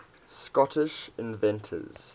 scottish inventors